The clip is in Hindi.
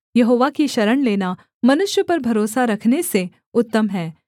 यहोवा की शरण लेना मनुष्य पर भरोसा रखने से उत्तम है